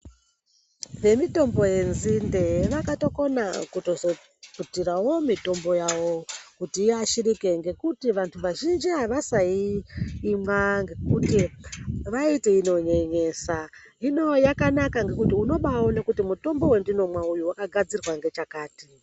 Vemitombo yenzinde vakatokona vakazotutsirawo mitombo yavo kuti iashirike ngekuti vantu vazhinji avasaimwa ngekuti vaiti inonyenyesa .Hino yakanaka ngekuti unobaatoone kuti mitombo wandinomwa uyu wakagadzirwa ngechakati .